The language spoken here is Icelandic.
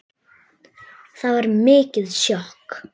Það var mikið sjokk.